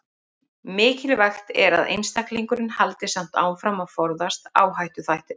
Mikilvægt er að einstaklingurinn haldi samt áfram að forðast áhættuþættina.